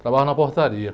Trabalhava na portaria.